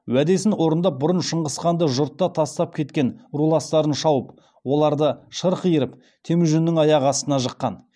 уәдесін орындап бұрын шыңғысханды жұртқа тастап кеткен руластарын шауып оларды шырқ иіріп темужіннің аяғына жыққан